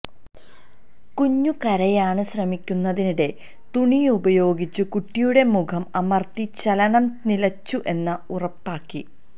കുഞ്ഞു കരയാന് ശ്രമിക്കുന്നതിനിടെ തുണി ഉപയോഗിച്ചു കുട്ടിയുടെ മുഖം അമര്ത്തി ചലനം നിലച്ചു എന്ന് ഉറപ്പാക്കി